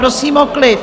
Prosím o klid!